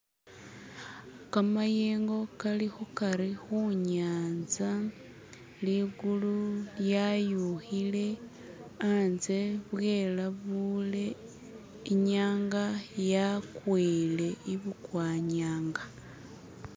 kamayengo kali khukari khunyanza ligulu lyayuhile antse bwelabule inyanga yakwile ibukwanyanga